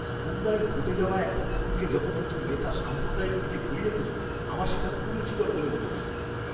মুম্বাইয়ের ঘটে যাওয়া একটা খুনকে যখন একজন নেতা সাম্প্রদায়িক দিকে ঘুরিয়ে দিল, আমার সেটা কুরুচিকর বলে মনে হয়েছিল!